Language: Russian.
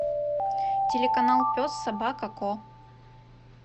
телеканал пес собака ко